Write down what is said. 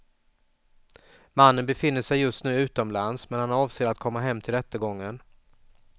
Mannen befinner sig just nu utomlands, men han avser att komma hem till rättegången.